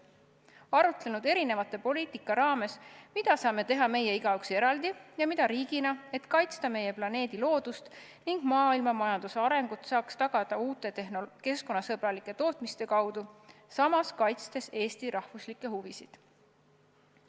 Oleksime arutlenud erinevate poliitikate raames, mida saame teha meie igaüks eraldi ja mida riigina, et kaitsta meie planeedi loodust ning maailmamajanduse arengut saaks tagada uute keskkonnasõbralike tootmiste kaudu, samas kaitstes Eesti rahvuslikke huvisid.